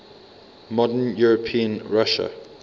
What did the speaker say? modern european russia